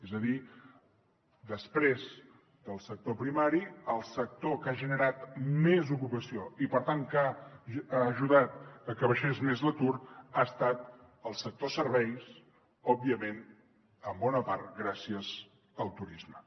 és a dir després del sector primari el sector que ha generat més ocupació i per tant que ha ajudat a que baixés més l’atur ha estat el sector serveis òbviament en bona part gràcies al turisme